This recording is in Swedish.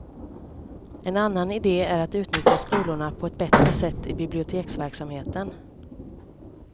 En annan ide är att utnyttja skolorna på ett bättre sätt i biblioteksverksamheten.